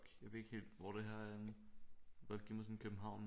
Jeg ved ikke helt hvor det her er henne kunne godt give mig sådan København